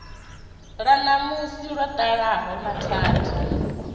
ḽa ṋamusi ḽo ḓalaho mathada